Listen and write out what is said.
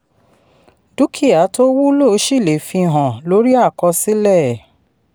dúkìá tó wúlò ṣì lè fi hàn lórí àkọsílẹ̀.